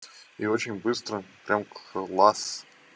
и очень быстро прям класс